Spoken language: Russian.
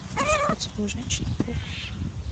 поцелуй женщины паука